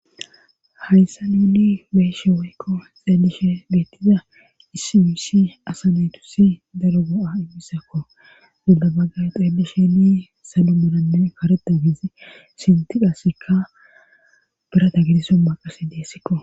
hayssa nuni beeshe woykko xeelishe geettiza issi yusi asanetusi daro go7a immisakko gidabaggay xeeli sheni salu muranne kareda gizi sintiqasikka birata gidiso maqasi deessikko